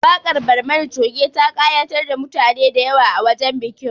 Waƙar Barmani Coge ta ƙayatar da mutane da yawa a wajen bikin